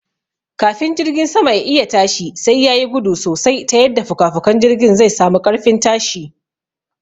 Kafin jirgin sama ya'iya tashi sai yayi gudu sosai ta yadda fukafukan jirgin zai sami ƙarfin tashi